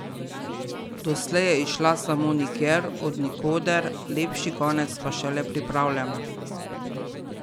Doslej je izšla samo Nikjer, od nikoder, Lepši konec pa šele pripravljamo.